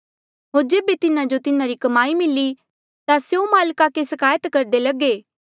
होर जेबे तिन्हा जो तिन्हारी कमाई मिली ता स्यों माल्का के सिकायत करदे लगे